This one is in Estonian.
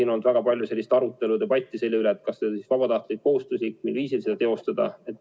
On olnud väga palju arutelu ja debatti selle üle, kas see võiks olla vabatahtlik või kohustuslik ja mil viisil seda teostada.